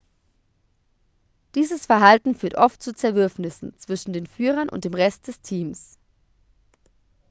dieses verhalten führt oft zu zerwürfnissen zwischen den führern und dem rest des teams